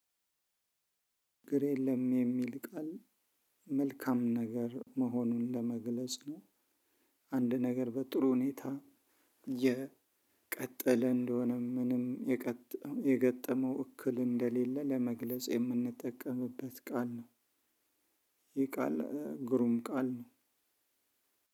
ችግር የለም የሚል ቃል መልካም ነገር መሆኑን ለመግለጽ ነው። አንድ ነገር በጥሩ ሁኔታ የቀጠለ እንደሆነ ምንም የገጠመው እክል እንደሌለ ለመግለጽ የምንጠቀምበት ቃል ነው። ይህ ቃል ግሩም ቃል ነው።